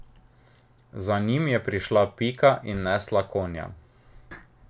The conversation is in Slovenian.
Za njim je prišla Pika in nesla konja.